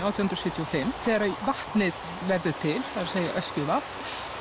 átján hundruð sjötíu og fimm þegar vatnið verður til það segja Öskjuvatn